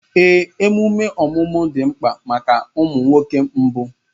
Ee, emume ọmụmụ dị mkpa maka ụmụ nwoke mbụ